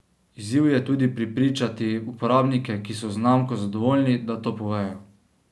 Izziv je tudi prepričati uporabnike, ki so z znamko zadovoljni, da to povejo.